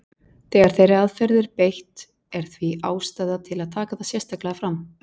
Þegar þeirri aðferð er beitt er því ástæða til að taka það sérstaklega fram.